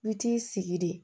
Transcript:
I bi t'i sigi de